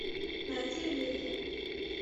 найди в лиге